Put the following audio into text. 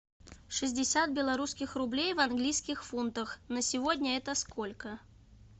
шестьдесят белорусских рублей в английских фунтах на сегодня это сколько